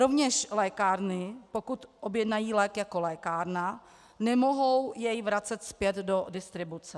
Rovněž lékárny, pokud objednají lék jako lékárna, nemohou jej vracet zpět do distribuce.